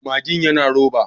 Magin yana roba.